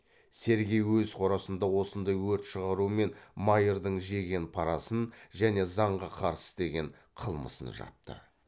сергей өз қорасында осындай өрт шығарумен майырдың жеген парасын және заңға қарсы істеген қылмысын жапты